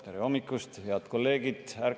Tere hommikust, head kolleegid!